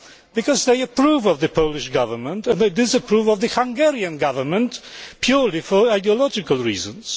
Because they approve of the Polish Government, and they disapprove of the Hungarian Government purely for ideological reasons.